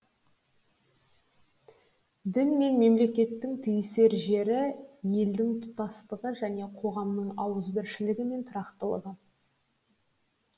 дін мен мемлекеттің түйісер жері елдің тұтастығы және қоғамның ауызбіршілігі мен тұрақтылығы